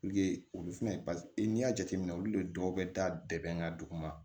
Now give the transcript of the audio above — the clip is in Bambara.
olu fɛnɛ n'i y'a jateminɛ olu de dɔw bɛ da bɛɛ bɛ n ka dugu ma